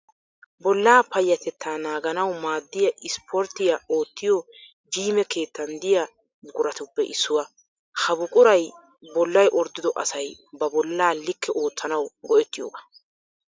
Bollaa payatetta naaganawu maaddiya isiporttiya oottiyoo jiime keettan diya buquratuppe issuwa. Ha buquray bollay orddido asay ba bolla like oottanaw go'ettiyoogaa.